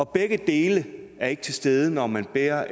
begge dele er ikke til stede når man bærer